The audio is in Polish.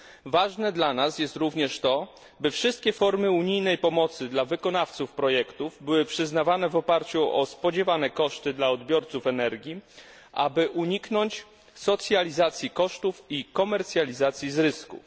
Ważne dla nas jest również to, by wszystkie formy unijnej pomocy dla wykonawców projektów były przyznawane w oparciu o spodziewane koszty dla odbiorców energii, aby uniknąć socjalizacji kosztów i komercjalizacji zysków.